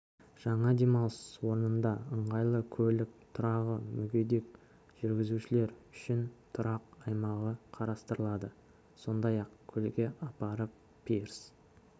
жаңа демалыс орнында ыңғайлы көлік тұрағы мүгедек жүргізушілер үшін тұрақ аймағы қарастырылады сондай-ақ көлге апаратын пирс